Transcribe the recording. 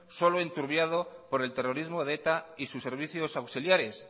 solo enturbiado por el terrorismo de eta y sus servicios auxiliares